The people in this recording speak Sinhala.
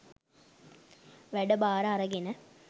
වැඩබාර අරගෙන